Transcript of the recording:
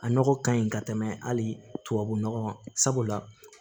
A nɔgɔ kaɲi ka tɛmɛ hali tubabu nɔgɔ sabula